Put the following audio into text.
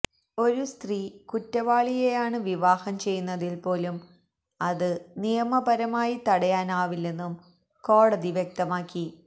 ഒരു സ്ത്രീ കുറ്റവാളിയെയാണ് വിവാഹം ചെയ്യുന്നതിൽപോലും അത് നിയമപരമായി തടയാനാവില്ലെന്നും കോടതി വ്യക്തമാക്കി